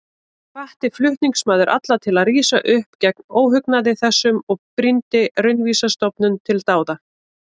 Hvatti flutningsmaður alla til að rísa upp gegn óhugnaði þessum og brýndi Raunvísindastofnun til dáða.